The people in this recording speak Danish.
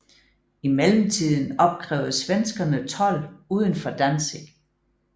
I mellemtiden opkrævede svenskerne told uden for Danzig